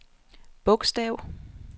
bogstav